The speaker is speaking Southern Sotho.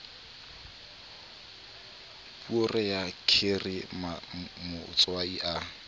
poere ya kheri matswai a